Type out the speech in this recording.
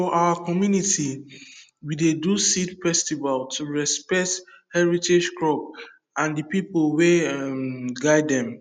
for our community we dey do seed festival to respect heritage crop and the people wey um guide dem